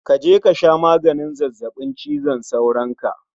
Kaje kasha maganin zazzabin cizon sauron ka